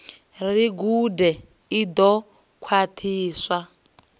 ri gude i ḓo khwaṱhiswa